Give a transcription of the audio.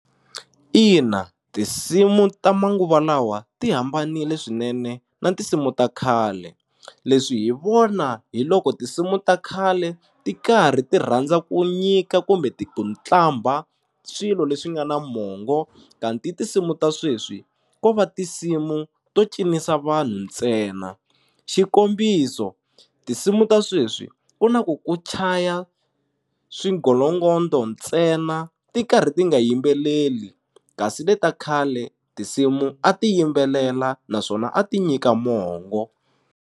Ina tinsimu ta manguva lawa ti hambanile swinene na tinsimu ta khale leswi hi vona hi loko tinsimu ta khale ti karhi ti rhandza ku nyika kumbe ti ku qambha swilo leswi nga na mongo kanti tinsimu ta sweswi ko va tinsimu to cinisa vanhu ntsena xikombiso tinsimu ta sweswi ku na ku ku chaya swigolongondo ntsena ti karhi ti nga yimbeleli kasi le ta khale tinsimu a ti yimbelela naswona a ti nyika mongo.